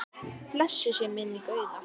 Blessuð sé minning Auðar.